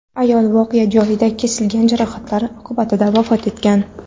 Ayol voqea joyida, kesilgan jarohatlar oqibatida vafot etgan.